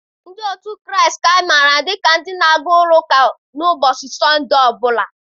Ndị òtù Kraịst ka maara dịka ndị na-aga ụlọ ụka na-ụbọchị Sọnde ọ bụla.